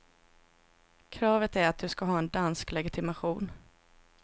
Kravet är att du ska ha en dansk legitimation.